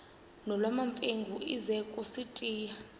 nolwamamfengu ize kusitiya